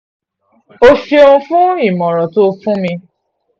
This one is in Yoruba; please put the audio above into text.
ó ṣeun fún ìmọ̀ràn tó o fún mi